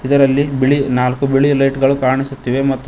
ಇದರಲ್ಲಿ ಬಿಳಿ ನಾಲ್ಕು ಬಿಳಿ ಲೈಟ್ಗಳು ಕಾಣಿಸುತ್ತಿವೆ ಮತ್ತು--